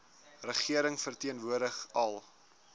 regering verteenwoordig al